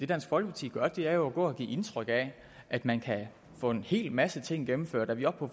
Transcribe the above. dansk folkeparti gør er jo går og giver indtryk af at man kan få en hel masse ting gennemført er vi oppe på